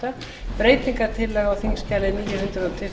fyrir nefndaráliti um frumvarp til